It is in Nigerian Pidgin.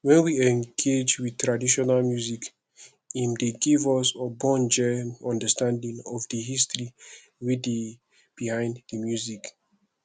when we engage with traditional music im dey give us ogbonge understanding of di history wey dey behind di music